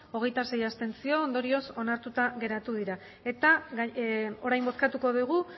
hogeita sei abstentzio ondorioz onartuta geratu dira eta orain bozkatuko dugu